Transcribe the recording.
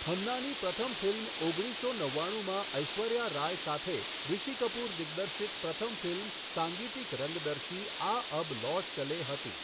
ખન્નાની પ્રથમ ફિલ્મ ઓગણીસો નવ્વાણુંમાં ઐશ્વર્યા રાય સાથે રીષિ કપૂર દિગ્દર્શિત પ્રથમ ફિલ્મ સાંગીતિક રંગદર્શી આ અબ લૌટ ચલે હતી.